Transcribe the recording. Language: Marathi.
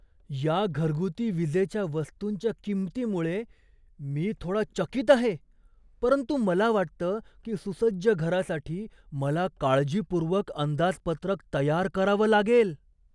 या घरगुती विजेच्या वस्तूंच्या किंमतीमुळे मी थोडा चकीत आहे, परंतु मला वाटतं की सुसज्ज घरासाठी मला काळजीपूर्वक अंदाजपत्रक तयार करावं लागेल.